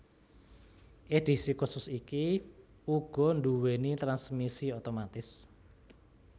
Edhisi khusus iki uga nduwéni transmisi otomatis